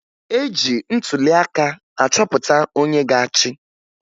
E ji ntụliaka achọpụta onye ga-achị